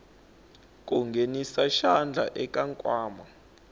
ku nghenisa xandla eka nkwama